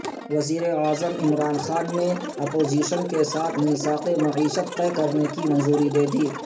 وزیراعظم عمران خان نے اپوزیشن کے ساتھ میثاق معیشت طے کرنے کی منظوری دے دی